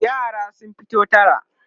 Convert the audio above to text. yara sun fito tara